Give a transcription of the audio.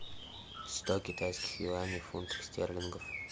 сто китайских юаней в фунтах стерлингов